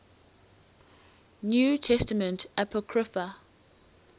new testament apocrypha